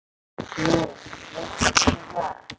Nú, vissir þú það?